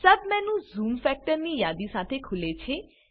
submenu zoom factors ની યાદી સાથે ખુલે છે